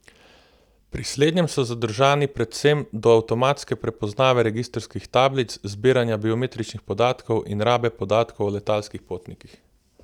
Pri slednjem so zadržani predvsem do avtomatske prepoznave registrskih tablic, zbiranja biometričnih podatkov in rabe podatkov o letalskih potnikih.